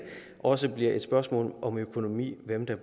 også et spørgsmål om økonomi hvem der